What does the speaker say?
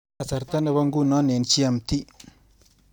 Kasarta nebo ngunoo eng GMT.